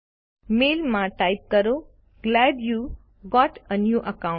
મેઈલમાં type કરો glad you got a new account